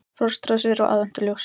Frostrósir og aðventuljós